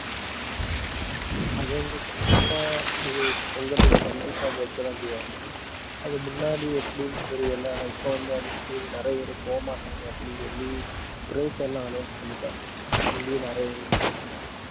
அது வந்து கண்டிப்பா அது பொங்கலுக்கு கண்டிப்பா வைக்கத்தான் செய்வாங்க. அதுக்கு முன்னாடி, எப்படின்னு தெரியலே. ஆனா இப்ப வந்து அது வந்து நிறைய பேர் போகமாட்டாங்க அப்படின்னு சொல்லி prize எல்லாம் announce பண்ணிட்டாங்க. இதுக்காண்டியே நிறைய பேர் போறாங்க இப்போ